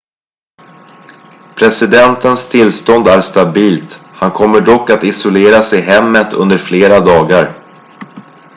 presidentens tillstånd är stabilt han kommer dock att isoleras i hemmet under flera dagar